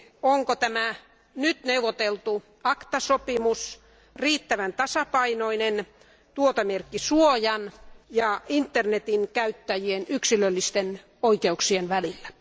Onko tämä nyt neuvoteltu ACTA sopimus riittävän tasapainoinen tuotemerkkisuojan ja internetin käyttäjien yksilöllisten oikeuksien välillä?